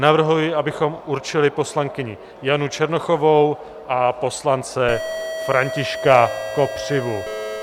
Navrhuji, abychom určili poslankyni Janu Černochovou a poslance Františka Kopřivu.